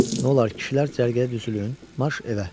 Nolar, kişilər cərgəyə düzülün, marş evə.